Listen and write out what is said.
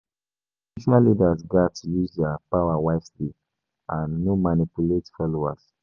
[hiss] Spiritual leaders gatz use their power wisely and no manipulate followers.